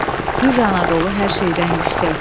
Hür Anadolu hər şeydən yüksək.